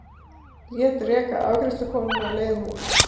Lét reka afgreiðslukonuna á leiðinni út.